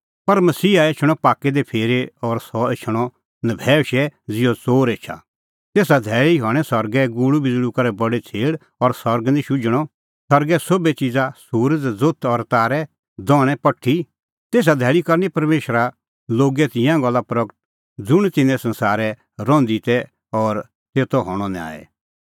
पर मसीहा एछणअ पाक्कै दी फिरी और सह एछणअ नभैऊशै ज़िहअ च़ोर एछा तेसा धैल़ी हणीं सरगै गुल़ूबिज़ल़ू करै बडी छ़ेल़ और सरग निं शुझणअ सरगे सोभै च़िज़ा सुरज़ ज़ोथ और तारै दझ़णैं पठी तैहा धैल़ी करनी परमेशरा लोगे तिंयां गल्ला प्रगट ज़ुंण तिन्नैं संसारै रहंदी की ती और तेतो हणअ न्याय